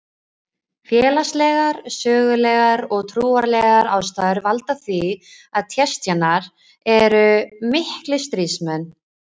Félagslegar, sögulegar og trúarlegar ástæður valda því að Tsjetsjenar eru miklir stríðsmenn.